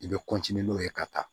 I bɛ n'o ye ka taa